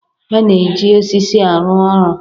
A na-eji osisi arụ ọrụ.